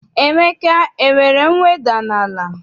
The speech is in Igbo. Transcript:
Emeka enwere mweda n'ala?